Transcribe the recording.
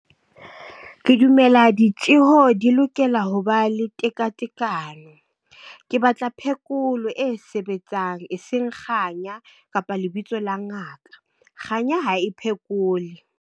Ke dumela ditjeho di lokela ho ba le tekatekano. Ke batla phekolo e sebetsang eseng kganya, kapa lebitso la ngaka. Kganya ha e phekole.